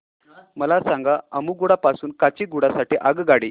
मला सांगा अम्मुगुडा पासून काचीगुडा साठी आगगाडी